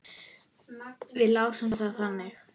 Við lásum það þannig.